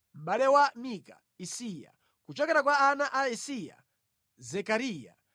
Mʼbale wa Mika: Isiya; kuchokera kwa ana a Isiya: Zekariya.